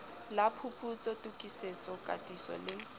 la phuputso tokisetso katiso le